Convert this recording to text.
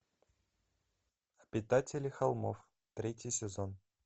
обитатели холмов третий сезон